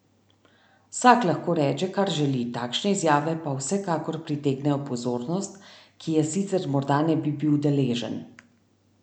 Vsak lahko reče, kar želi, takšne izjave pa vsekakor pritegnejo pozornost, ki je sicer morda ne bi bil deležen.